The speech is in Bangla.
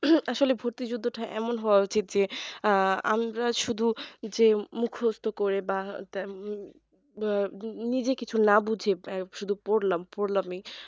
আসলে ভর্তিযুদ্ধটা এমন হওয়া উচিত যে আহ আমি যে শুধু যে মুখস্ত করে বা উম নিজে কিছু না বুঝে শুধু পড়লাম পড়লামই